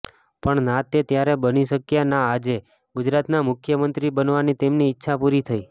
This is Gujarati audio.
પણ ના તે ત્યારે બની શક્યા ના આજે ગુજરાતના મુખ્યમંત્રી બનાવાની તેમની ઇચ્છા પૂરી થઇ